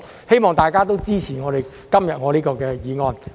希望大家都支持我今天提出的議案。